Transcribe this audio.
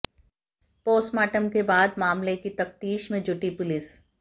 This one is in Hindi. पोस्टमार्टम के बाद मामले की तफ्तीश में जुटी पुलिस